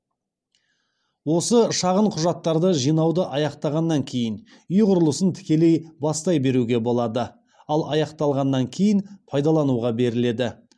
осы шағын құжаттарды жинауды аяқтағаннан кейін үй құрылысын тікелей бастай беруге болады ал аяқталғаннан кейін пайдалануға беріледі